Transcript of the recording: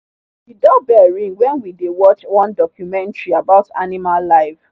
the doorbell ring when we dey watch one documentary about animal life.